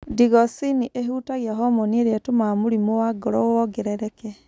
Digoxin ĩhutagia homoni iria ĩtũmaga mũrimũ wa ngoro wongerereke.